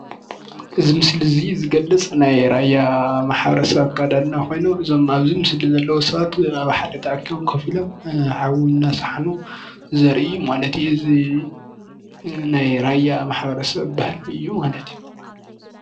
እዙይ ምስሊ እዙይ ዝገልፅ ናይ ራያ ማሕበረሰብ ኣከዳድና ኮይኑ እዞም ኣብዚ ምስሊ ዘለው ሰባት ሓደ ተኣኪቦም ኮፍ ሓዊ እናሰሓኑ ዘሪኢ ማለት እዩ። እዙይ ናይ ራያ ማሕበረሰብ ባህሊ እዩ ማለት እዩ።